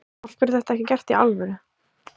Af hverju er þetta ekki gert í alvöru?